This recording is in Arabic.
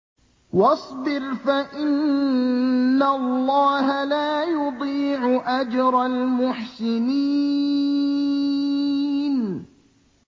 وَاصْبِرْ فَإِنَّ اللَّهَ لَا يُضِيعُ أَجْرَ الْمُحْسِنِينَ